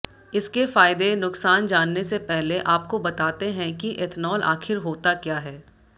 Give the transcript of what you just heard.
इसके फायदे नुकसान जानने से पहले आपको बताते हैं कि एथनॉल आखिर होता क्या है